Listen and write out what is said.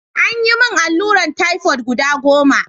An yi min alluran typhoid guda goma.